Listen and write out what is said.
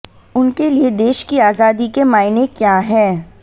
उनके लिए देश की आजादी के मायने क्या हैं